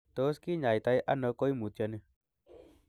Tos kinyaita ono koimutioni?